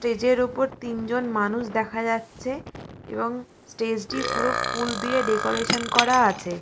স্টেজের উপর তিন জন মানুষ দেখা যাচ্ছে এবং স্টেজ টি ফুল দিয়ে ডেকোরেশন করা আছে।